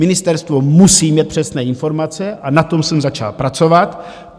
Ministerstvo musí mít přesné informace a na tom jsem začal pracovat.